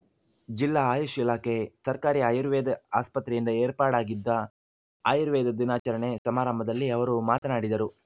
ಜಿಲ್ಲಾ ಆಯುಷ್‌ ಇಲಾಖೆ ಸರ್ಕಾರಿ ಆಯುರ್ವೇದ ಆಸ್ಪತ್ರೆಯಿಂದ ಏರ್ಪಾಡಾಗಿದ್ದ ಆಯುರ್ವೇದ ದಿನಾಚರಣೆ ಸಮಾರಂಭದಲ್ಲಿ ಅವರು ಮಾತನಾಡಿದರು